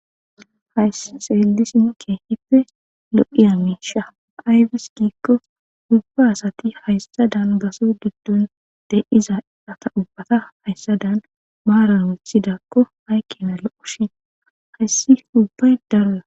hy seellisi mukke hippe lo7iya miisha ayfis giikko hubba asati hayssadan baso diddun de7iza ata ubbata hayssa dan maaran withidakko haykkena lo7oshin hayssi hubbay darola.